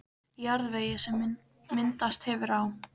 Í jarðvegi, sem myndast hefur á